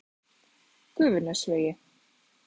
Gufunesvegi